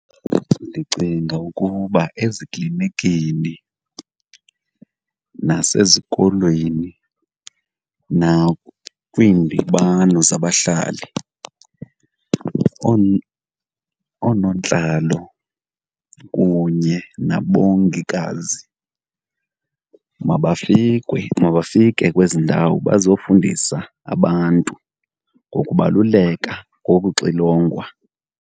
Ndicinga ukuba eziklinikini nasezikolweni nakwiindibano zabahlali, oonontlalo kunye nabongikazi mabafike kwezi ndawo bazofundisa abantu ngokubaluleka kokuxilongwa.